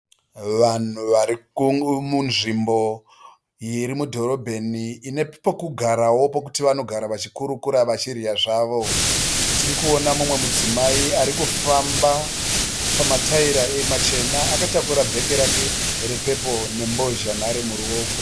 Vanhu vari munzvimbo iri mudhorobheni ine pekugarawo pokuti vanogara vachikurukura vachidya zvavo. Tirikuona mumwe mudzimai ari kufamba pamataira machena akatakura bheke rake repepuro nembozhanhare muruoko rwake.